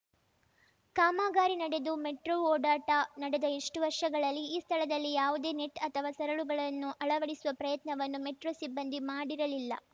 ಕಾಮಗಾರಿ ನಡೆದು ಮೆಟ್ರೋ ಓಡಾಟ ನಡೆದ ಇಷ್ಟುವರ್ಷಗಳಲ್ಲಿ ಈ ಸ್ಥಳದಲ್ಲಿ ಯಾವುದೇ ನೆಟ್‌ ಅಥವಾ ಸರಳುಗಳನ್ನು ಅಳವಡಿಸುವ ಪ್ರಯತ್ನವನ್ನು ಮೆಟ್ರೋ ಸಿಬ್ಬಂದಿ ಮಾಡಿರಲಿಲ್ಲ